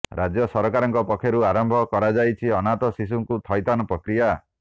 ରାଜ୍ୟ ସରକାରଙ୍କ ପକ୍ଷରୁ ଆରମ୍ଭ କରାଯାଇଛି ଅନାଥ ଶିଶୁଙ୍କୁ ଥଇଥାନ ପ୍ରକ୍ରିୟା